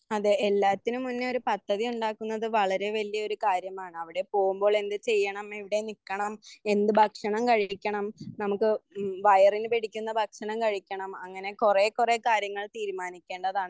അതെ എല്ലാത്തിനും മുന്നെ ഒരു പദ്ധതി ഉണ്ടാക്കുന്നത് വളരെ വല്യൊരു കാര്യമാണ്. അവിടെ പോകുമ്പോളെന്ത് ചെയ്യണം എവിടെ നിക്കണം എന്ത് ഭക്ഷണം കഴിക്കണം നമുക്ക് വയറിന് വേടിക്കുന്ന ഭക്ഷണം കഴിക്കണം. അങ്ങനെ കുറേ കുറേ കാര്യങ്ങൾ തീരുമാനിക്കേണ്ടതാണ്.